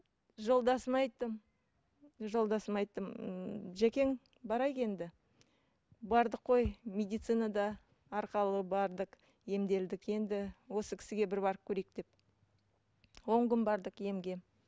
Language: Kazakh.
жолдасыма айттым жолдасыма айттым ммм жакең барайық енді бардық қой медицина да бардық емделдік енді осы кісіге бір барып көрейік деп он күн бардық емге